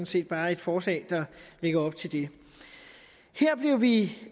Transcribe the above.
set bare et forslag der lægger op til det her blev vi